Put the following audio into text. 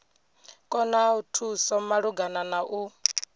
ṱoḓa thuso malugana na u